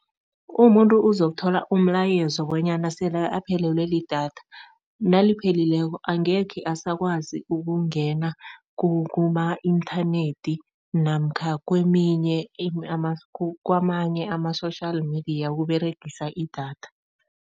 Umuntu uzokuthola umlayezo bonyana sele aphelelwe lidatha, nalipheleleko angekhe asakwazi ukungena kuma-inthanethi namkha keminye kamanye ama-social media ukUberegisa idatha.